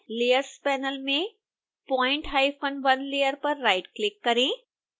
layers panel में point1 layer पर right click करें